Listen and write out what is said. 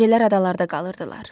Gecələr adalarda qalırdılar.